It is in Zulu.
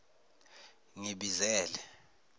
ngibizele